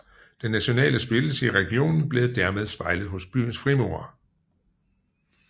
Den nationale splittelse i regionen blev dermed spejlet hos byens frimurere